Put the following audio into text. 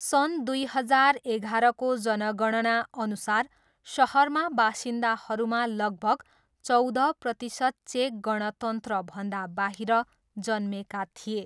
सन् दुई हजार एघारको जनगणनाअनुसार सहरका बासिन्दाहरूमा लगभग चौध प्रतिशत चेक गणतन्त्रभन्दा बाहिर जन्मेका थिए।